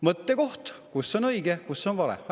Mõttekoht: kus on õige, kus on vale?